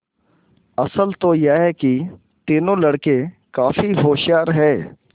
असल तो यह कि तीनों लड़के काफी होशियार हैं